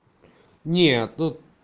нет ну